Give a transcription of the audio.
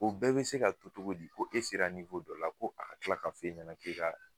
O bɛɛ bɛ se ka to cogo di ko e sera dɔ la ko a bɛ tila ka fɔ e ɲɛna k'e ka